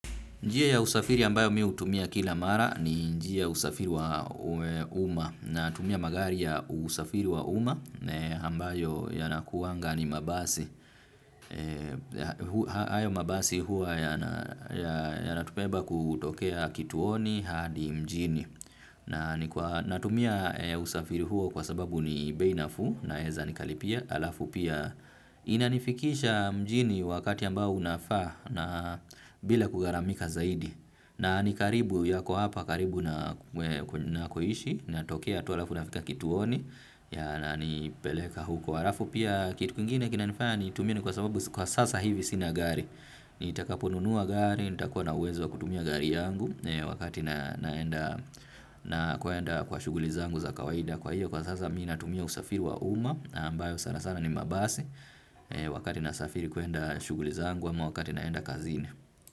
Njia ya usafiri ambayo mimi hutumia kila mara ni njia ya usafiri wa uma natumia magari ya usafiri wa uma ambayo yanakuwaga ni mabasi. Hayo mabasi huwa yanatubeba kutokea kituoni hadi mjini. Natumia usafiri huo kwa sababu ni bei nafuu naweza nikalipia alafu pia. Inanifikisha mjini wakati ambao unafaa na bila kugharamika zaidi. Na nikaribu yako hapa karibu na nakoishi. Natokea tu halafu nafika kituoni. Ya na nipeleka huko arafu pia kitu kingine kinanifanya nitumie kwa sababu kwa sasa hivi sina gari nitakaponunua gari, nitakuwa na uwezo wa kutumia gari yangu. Wakati naenda kwa shughuli zangu za kawaida kwa hiyo kwa sasa mimi natumia usafiri wa uma ambayo sana sana ni mabasi wakati nasafiri kwenda shughuli zangu ama wakati naenda kazini.